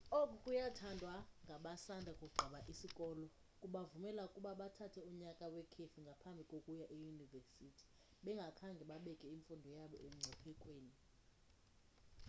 oku kuyathandwa ngabasanda kugqiba isikolo kubavumela ukuba bathathe unyaka wekhefu ngaphambi kokuya eyunivesithi bengakhange babeke imfundo yabo emngciphekweni